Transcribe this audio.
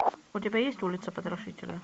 у тебя есть улица потрошителя